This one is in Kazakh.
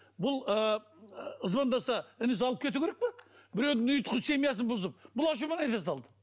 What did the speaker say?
бұл ыыы звондаса інісі алып кету керек пе біреудің ұйытқы семьясын бұзып